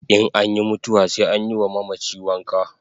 In anyi mutuwa sai anyi wa mamachi wanka